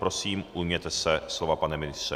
Prosím, ujměte se slova, pane ministře.